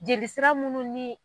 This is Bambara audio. Jeli sira munnu ni